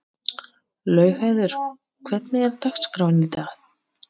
Laugheiður, hvernig er dagskráin?